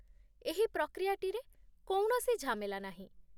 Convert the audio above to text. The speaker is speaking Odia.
ଏହି ପ୍ରକ୍ରିୟାଟିରେ କୌଣସି ଝାମେଲା ନାହିଁ।